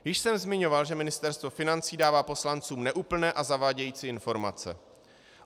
Již jsem zmiňoval, že Ministerstvo financí dává poslancům neúplné a zavádějící informace.